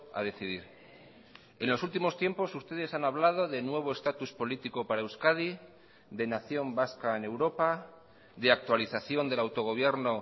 a decidir en los últimos tiempos ustedes han hablado de nuevo estatus político para euskadi de nación vasca en europa de actualización del autogobierno